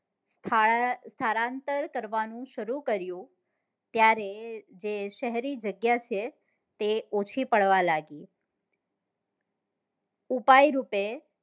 સ્થળાં સ્થળાંતર કરવા નું સરું કર્યું ત્યારે તે કોઈ જગ્યા છે તે ઓછી પડવા લાગી ઉપાય રૂપે